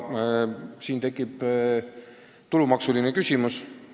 Siin tekib ka tulumaksu küsimus.